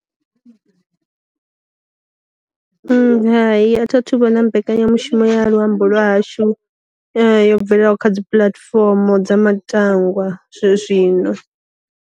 Hayi a thi a thu vhona mbekanyamushumo ya luambo lwa hashu yo bvelelaho kha dzi puḽatifomo dza matangwa zwe zwino.